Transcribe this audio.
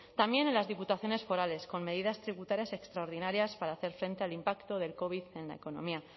también en las diputaciones forales con medidas tributarias extraordinarias para hacer frente al impacto del covid en la economía